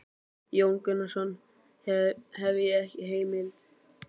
Jón Gunnarsson: Hef ég ekki heimild?